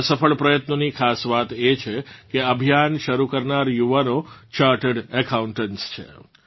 આ સફળ પ્રયત્નોની ખાસ વાત એ છે કે અભિયાન શરૂ કરનાર યુવાનો ચાર્ટર્ડ એકાઉન્ટન્ટ્સ છે